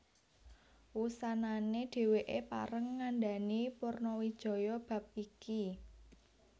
Wusanané dhèwèké pareng ngandhani Purnawijaya bab iki